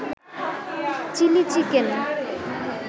chilli chicken